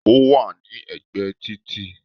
Ó wà ní ẹ̀gbẹ́ ẹ títì